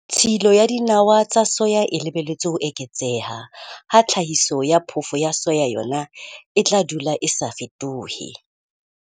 Tshilo ya dinawa tsa soya e lebelletswe ho eketseha ha tlhahiso ya phofo ya soya yona e tla dula e sa fetohe.